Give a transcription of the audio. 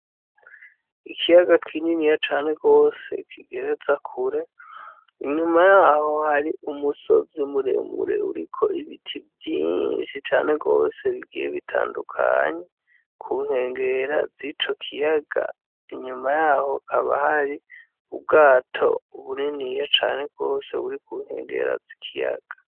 Ikiyaga kinini ya cane rwose kigereza kure inyuma yaho hari umusozi muremure uriko ibiti vyinshi cane rwose bigiye bitandukanye kunkengera zico kiyaga inyuma yaho kaba hari ubwato ubunini yeca ane bwose wuri kuntengerazi ikiyaka.